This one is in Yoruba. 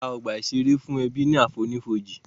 Wọ́n ṣẹ̀dá ọgbà ìṣeré fún ẹbí ní àfonífojì